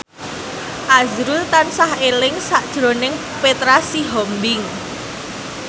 azrul tansah eling sakjroning Petra Sihombing